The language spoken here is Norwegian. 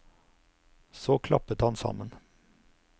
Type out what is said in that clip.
Så klappet han sammen.